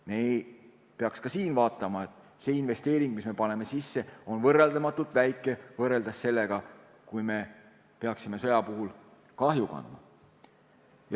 Me peaks ka siin vaatama, et see investeering, mis me paneme sisse, on võrreldamatult väike võrreldes selle kahjuga, mida me peaksime sõja puhul kandma.